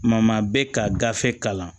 Ma bɛ ka gafe kalan